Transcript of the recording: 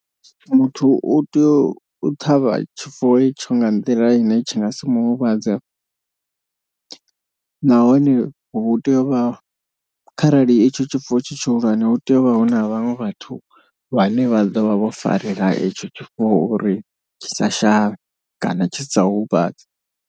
Muthu u tea u ṱhavha tshifuwo itsho nga nḓila ine tshi nga si mu huvhadze. Nahone hu tea u vha kharali itsho tshifuwo tshi tshihulwane huteyovha huna vhaṅwe vhathu vhane vha ḓovha vho farela itsho tshifuwo. Uri tshi sa shavhe kana tshi sa u huvhadze.